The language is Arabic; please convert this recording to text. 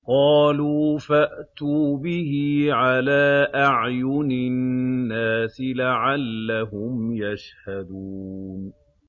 قَالُوا فَأْتُوا بِهِ عَلَىٰ أَعْيُنِ النَّاسِ لَعَلَّهُمْ يَشْهَدُونَ